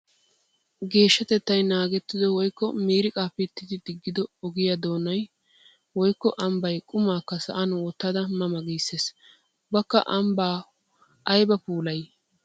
Geeshshatettay naagettido woykko miiriqqa pittiddi digiddo ogiya doonay woykko ambbay qummakka sa'an wottadda ma ma gissees. Ubbakka ambba aybba puullay!